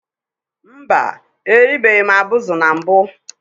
Mba, eribeghị m abụzụ na mbụ